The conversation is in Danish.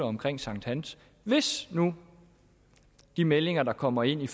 omkring sankthans hvis nu de meldinger der kommer ind